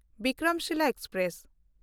Vikramshila express